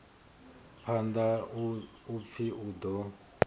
phanḓa u pfi u ḓo